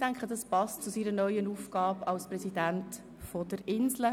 Ich denke, dieser passt zu seiner neuen Aufgabe als Präsident des Inselspitals.